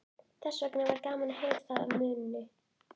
Þessvegna var gaman að heyra það af munni